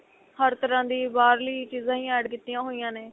ਹਰ ਤਰ੍ਹਾਂ ਦੀ ਬਾਹਰਲੀ ਚੀਜ਼ਾ ਹੀ add ਕੀਤੀਆਂ ਹੋਈਆਂ ਨੇ